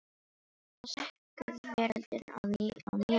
Þá sekkur veröldin á nýjan leik.